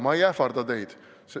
Ma ei ähvarda teid.